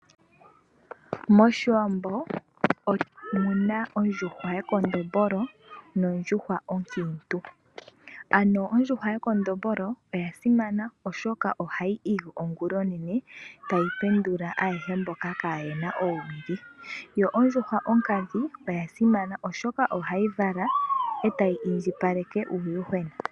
Moshiwambo otuna ondjuhwa yekondombolo, noshowo ondjuhwa onkiintu. Ano ondjuhwa yekondombolo oya simana oshoka ohayi igi ongula onene, tayi pendula ayehe mboka kaayena oowili. Ondjuhwa onkadhi oya simana oshoka ohayi vala, e tayi indjipaleke uuyuhwena.